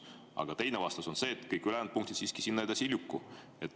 Aga teine vastus oli see, et kõik ülejäänud punktid siiski sinna edasi ei lükku.